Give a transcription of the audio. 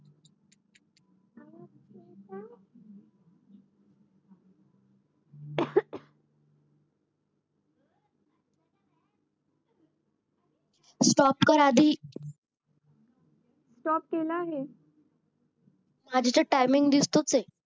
stop कर आधी